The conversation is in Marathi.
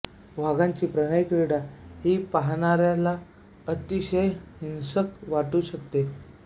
वाघांची प्रणयक्रीडा ही पहाणाऱ्याला अतिशय हिंसक वाटू शकते